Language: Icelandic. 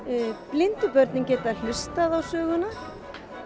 blindu börnin geta hlustað á söguna